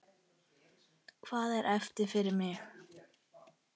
Hvað er eftir fyrir mig?